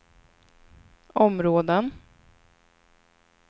områden